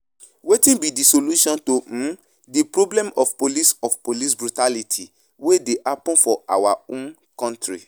Wetin be di solution to um di problem of police of police brutality wey dey happen for our um country?